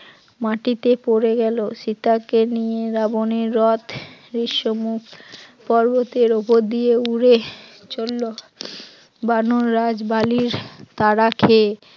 মাটিতে পড়ে গেল, সীতাকে নিয়ে রাবণের রথ বিশ্ব মুখ পর্বতের উপর দিয়ে উড়ে চলল, বানর রাজ বালির তাড়া খেয়ে